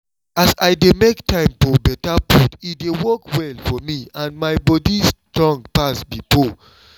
as i dey make time for better food e dey work well for me and my body strong pass before